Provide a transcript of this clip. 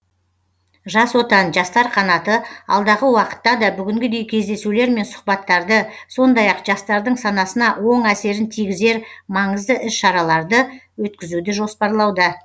жас отан жастар қанаты алдағы уақытта да бүгінгідей кездесулер мен сұхбаттарды сондай ақ жастардың санасына оң әсерін тигізер маңызды іс шараларды өткізуді жоспарлауда